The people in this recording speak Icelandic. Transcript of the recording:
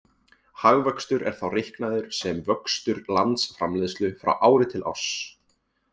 Hagvöxtur er þá reiknaður sem vöxtur landsframleiðslu frá ári til árs.